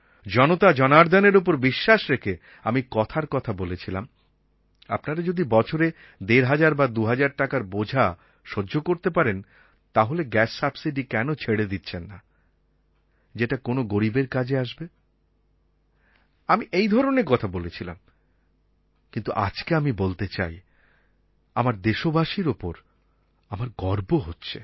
জনতা জনার্দনের ওপর বিশ্বাস রেখে আমি কথার কথা বলেছিলাম আপনারা যদি বছরে ১৫০০ বা ২০০০ টাকার বোঝা সহ্য করতে পারেন তাহলে গ্যাস সাবসিডি কেন ছেড়ে দিচ্ছেন না যেটা কোনো গরীবের কাজে আসবে আমি এই ধরনের কথা বলেছিলাম কিন্তু আজকে আমি বলতে চাই আমার দেশবাসীর ওপর আমার গর্ব হচ্ছে